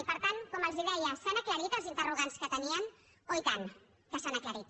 i per tant com els deia s’han aclarit els interrogants que tenien oh i tant que s’han aclarit